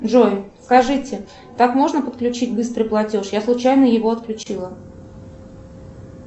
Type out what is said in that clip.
джой скажите так можно подключить быстрый платеж я случайно его отключила